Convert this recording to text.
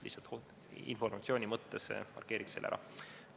Lihtsalt informatsiooni mõttes markeerin selle ära.